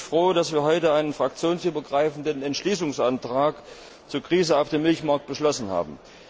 Deshalb bin ich froh, dass wir heute einen fraktionsübergreifenden Entschließungsantrag zur Krise auf dem Milchmarkt beschlossen haben.